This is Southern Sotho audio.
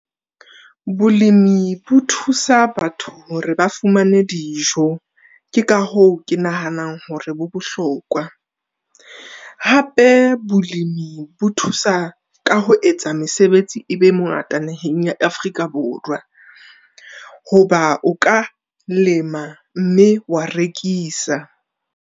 Bolemi bo thusa batho hore ba fumane dijo. Ke ka hoo ke nahanang hore bo bohlokwa. Hape bolemi bo thusa ka ho etsa mesebetsi e be a mengata naheng ya Afrika Borwa, hoba o ka lema mme wa rekisa.